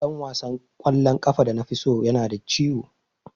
Dan wasan kwallon kafa da nafi so yana da ciwo.